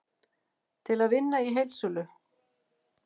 Til að vinna í heildsölu